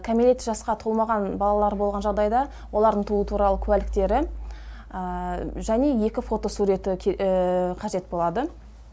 кәмелет жасқа толмаған балалары болған жағдайда олардың туу туралы куәліктері және екі фотосуреті қажет болады